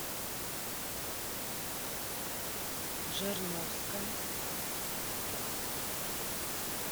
жирновска